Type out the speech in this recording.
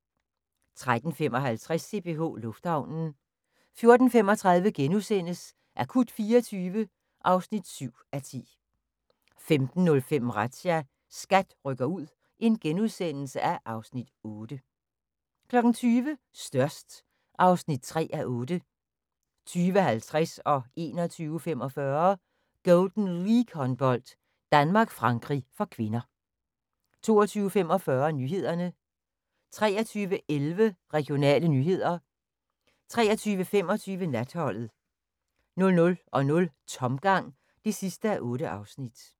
13:55: CPH Lufthavnen 14:35: Akut 24 (7:10)* 15:05: Razzia – SKAT rykker ud (Afs. 8)* 20:00: Størst (3:8) 20:50: Golden League-håndbold: Danmark-Frankrig (k) 21:45: Golden League-håndbold: Danmark-Frankrig (k) 22:45: Nyhederne 23:11: Regionale nyheder 23:25: Natholdet 00:00: Tomgang (8:8)